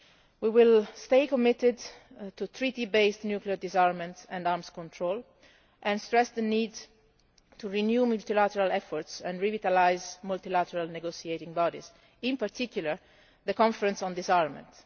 We will stay committed to Treaty based nuclear disarmament and arms control and stress the need to renew multilateral efforts and revitalise multilateral negotiating bodies, in particular the Conference on Disarmament.